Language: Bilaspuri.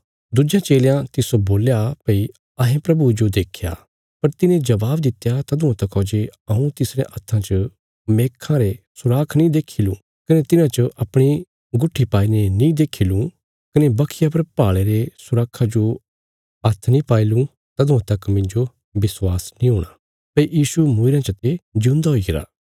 दुज्यां चेलयां तिस्सो बोल्या भई अहें प्रभुये जो देख्या पर तिने जबाब दित्या तदुआं तका जे हऊँ तिसरयां हत्थां च मेखां रे सुराख नीं देक्खी लुँ कने तिन्हां च अपणी गुट्ठी पाईने नीं देक्खी लुँ कने बखिया पर भाले रे सुराखा जो हात्थ नीं पाई लुँ तदुआं तक मिन्जो विश्वास नीं हूणा भई यीशु मूईरयां चते जिऊंदा हुईगरा